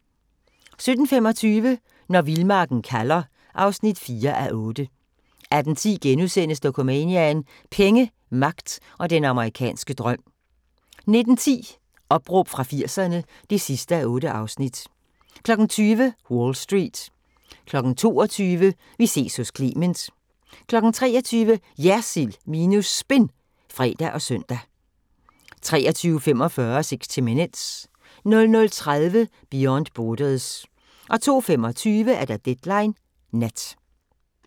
17:25: Når vildmarken kalder (4:8) 18:10: Dokumania: Penge, magt og den amerikanske drøm * 19:10: Opråb fra 80'erne (8:8) 20:00: Wall Street 22:00: Vi ses hos Clement 23:00: JERSILD minus SPIN (fre og søn) 23:45: 60 Minutes 00:30: Beyond Borders 02:25: Deadline Nat